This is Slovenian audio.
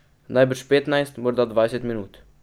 Najbrž petnajst, morda dvajset minut.